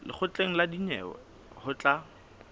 lekgotleng la dinyewe ho tla